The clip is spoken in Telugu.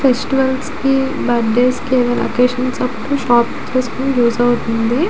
ఫెస్టివల్స్ కి బర్త్ డేస్ కి ఏదైనా ఒకేషన్స్ అప్పుడు షాప్ చేసుకోవటానికి యూస్ అవుతుంది.